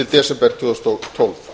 desember tvö þúsund og tólf